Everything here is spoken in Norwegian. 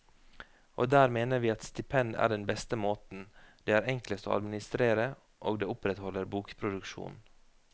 Og der mener vi at stipend er den beste måten, det er enklest å administrere, og det opprettholder bokproduksjonen.